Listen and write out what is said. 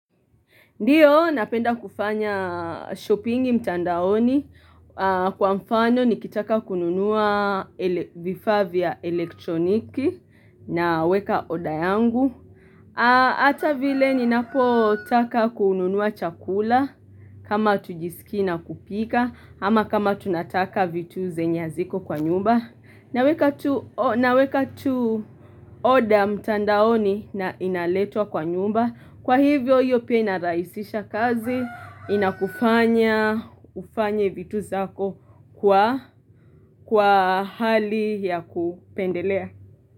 Ndiyo napenda kufanya shopping mtandaoni kwa mfano nikitaka kununua vifaa vya elektroniki naweka order yangu hata vile ninapotaka kununua chakula kama hatujisikii na kupika ama kama tunataka vitu zenye haziko kwa nyumba naweka tu na weka tu order mtandaoni na inaletwa kwa nyumba Kwa hivyo hiyo pia inarahisisha kazi inakufanya ufanye vitu zako kwa hali ya kupendelea.